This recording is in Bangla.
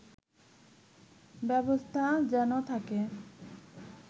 ব্যবস্থা যেন থাকে